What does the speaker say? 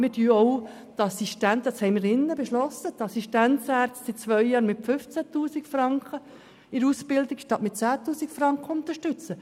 Wir haben hier im Saal beschlossen, die Assistenzärzte in der Ausbildung seit zwei Jahren mit 15 000 Franken statt mit 10 000 Franken zu unterstützen.